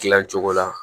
Gilan cogo la